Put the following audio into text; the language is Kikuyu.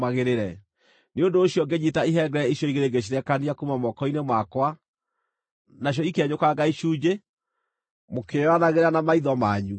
Nĩ ũndũ ũcio ngĩnyiita ihengere icio igĩrĩ ngĩcirekania kuuma moko-inĩ makwa, nacio ikĩenyũkanga icunjĩ mũkĩĩonagĩra na maitho manyu.